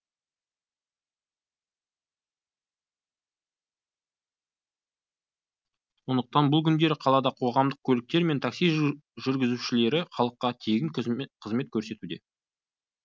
сондықтан бұл күндері қалада қоғамдық көліктер мен такси жүргізушілері халыққа тегін қызмет көрсетуде